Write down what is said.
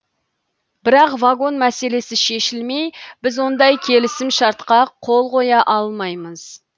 бірақ вагон мәселесі шешілмей біз ондай келісімшартқа қол қоя алмаймыз